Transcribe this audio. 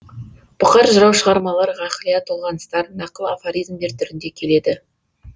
бұқар жырау шығармалары ғақлия толғаныстар нақыл афоризмдер түрінде келеді